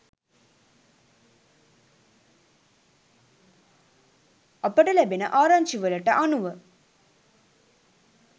අපට ලැබෙන ආරංචිවලට අනුව